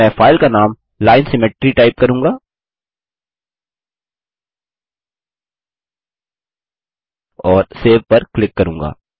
मैं फाइल का नाम line सिमेट्री टाइप करूँगा और सेव पर क्लिक करूँगा